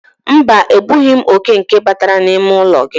Mba, egbughi m oke nke batara n'ime ụlọ gị.